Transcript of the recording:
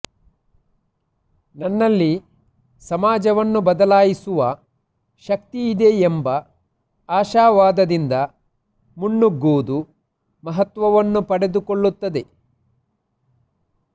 ನನ್ನಲ್ಲಿ ಸಮಾಜವನ್ನು ಬದಲಾಯಿಸುವ ಶಕ್ತಿಯಿದೆ ಎಂಬ ಆಶಾವಾದದಿಂದ ಮುನ್ನುಗುವುದು ಮಹತ್ವವನ್ನು ಪಡೆದುಕೊಳ್ಳುತ್ತದೆ